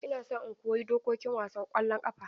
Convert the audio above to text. Ina so in koyi dokokin wasan ƙwallon ƙafa.